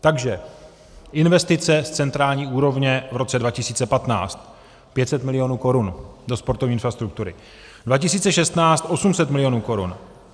Takže investice z centrální úrovně v roce 2015 500 milionů korun do sportovní infrastruktury, 2016 800 milionů korun.